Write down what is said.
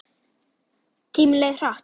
Tíminn leið hratt.